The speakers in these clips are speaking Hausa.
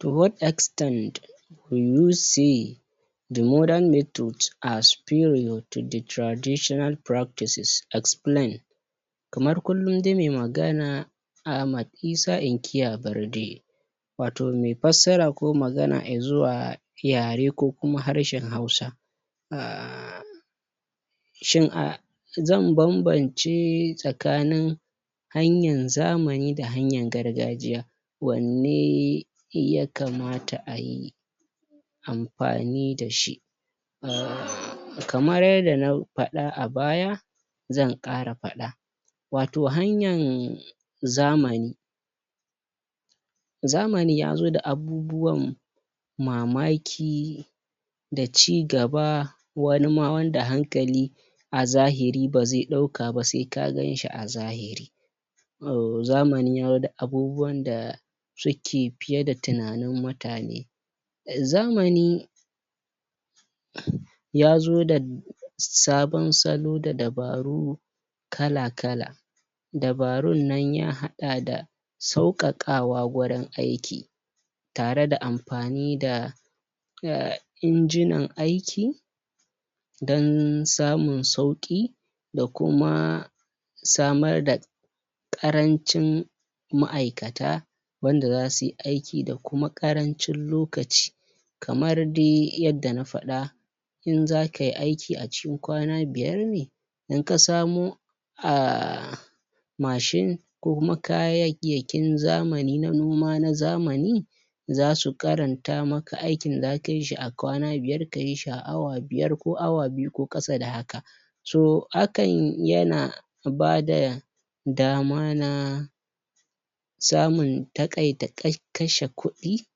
To what extent will you see the modern method as period to the traditional practices? Explain. Kamar kulun dai muyi magana Ahmad Isa inkiya Barde. wato me fassara ko maga izuwa yare ko kuma harshen Hausa uhh shin uhh zan banbance tsakanin hanyan zamani da hanyan gargajiya wanne ya kamata a yi anfani dashi uhhh kamar yadda na fada a baya zan kara fada wato hanyan zamani zamani yazo da abubuwan mamaki, da cigaba, wani ma wanda hankali a zahiri ba zai dauka ba sai ka ganshi a zahiri uhh zamani yazo da abubuwan da suke fie da tunanin mutane. Zamani ya zo da sabon salo dadabaru kala kala dabarun nan ya hada da saukakawa wurin aiki tare da anfani da uhh inginan aiki dan samin sauki da kuma samar da karancin ma`aikata wanda zasuyi aki da kuma karancin lokaci. Kamar dai yadda na fad in zaka yi aiki a cikin kwna biyar ne in ka samu uhh machine ko kuma kayayakin zamani na noma na zamani za su karanta maka aikni da zaka yi shi a kwana biyar ko yi shi a awa biyar ko awa biu ko kasa da haka. To hakan yana ba da dama na samun takai takiata kashe kudi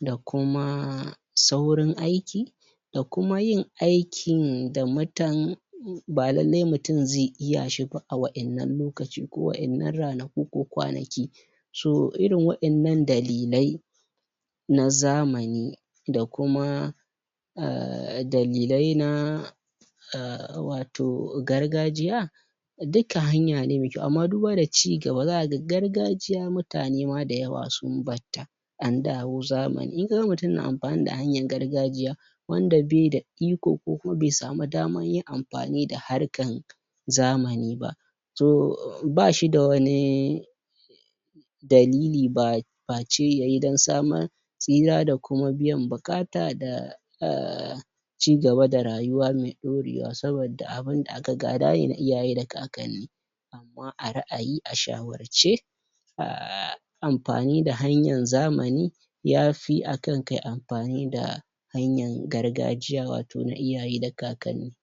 da kuma saurin aiki da kuma yin aikin da mutan ba lallai mutun zai iya shi ba a waddan lokacin, ko wadan ranaku ko kwanaki. So, irin waddan nan dalilai na zamani da kuma uhh dalilai na uhh wato gargajiya duka hanya ne mai kau. Amma duba da cigaba zakaga gargajia mutane da yawwa sun barta andawo zamani In ksga mutun na anfani da hanyar garajiya wanda baida iko ko kuma bai samu daman yin anfai da harka zamani ba to bashi da wani dalili ba fashe yayi dan samar tsira da kuma biyan bukata da uhh cigaba da rawuya mai dorewa, saboda abun da aka gada ne daga iyaye da kakanni. Amma a ra`ayi a shawarce uhh anfani da hanyar zamani ya fi akan kayi anfani da hanyar gargajiya wato na iayaye da kakanni